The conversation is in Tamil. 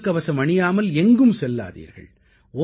முகக்கவசம் அணியாமல் எங்கும் செல்லாதீர்கள்